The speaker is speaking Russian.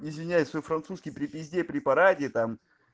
извиняйся французский привези препарате там